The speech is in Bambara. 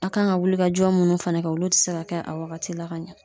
A kan ka wulikajɔ munnu fɛnɛ kɛ olu te se ka kɛ a wagati la ka ɲɛ